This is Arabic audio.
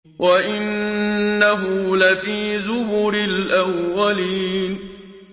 وَإِنَّهُ لَفِي زُبُرِ الْأَوَّلِينَ